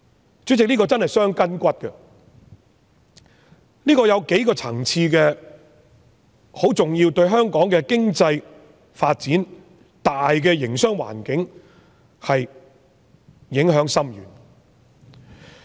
主席，這項建議真是會傷筋骨的，當中有數個層次十分重要，對香港的經濟發展、大營商環境影響深遠。